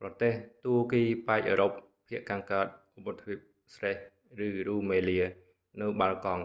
ប្រទេសទួរគីប៉ែកអឺរ៉ុប ភាគខាងកើតឧបទ្វីប thrace ឬ rumelia នៅ balkan បាល់កង់